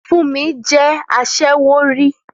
Fúnmi jẹ́ aṣẹ́wó rí